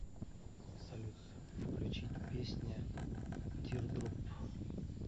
салют включить песня тирдроп